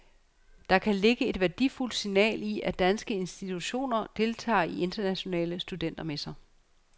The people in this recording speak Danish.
Der kan ligge et værdifuldt signal i, at danske institutioner deltager i internationale studentermesser.